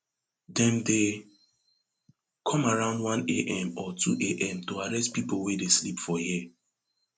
dem dey come around oneam or twoam to arrest pipo wey dey sleep for here